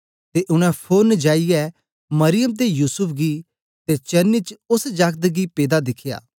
ते उनै फोरन जाईयै मरियम ते युसूफ गी ते चरनी च ओस जागत गी पेदा दिखया